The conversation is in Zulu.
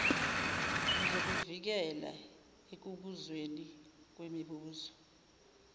uzokuvikela ekubuzweni kwemibuzo